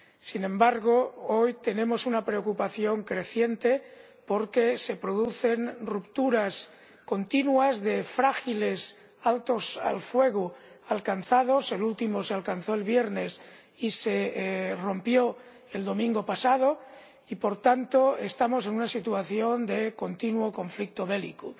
Sin embargo, hoy tenemos una preocupación creciente porque se producen continuamente rupturas de frágiles altos el fuego —el último se alcanzó el viernes y se rompió el domingo pasado— y, por tanto, estamos en una situación de continuo conflicto bélico.